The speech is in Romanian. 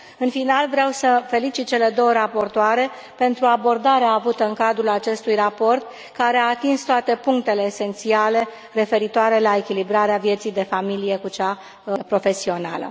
În final, vreau să felicit cele două raportoare pentru abordarea avută în cadrul acestui raport, care a atins toate punctele esențiale referitoare la echilibrarea vieții de familie cu cea profesională.